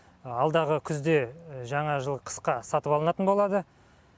алдағы күзде жаңа жыл қысқа сатып алынатын болады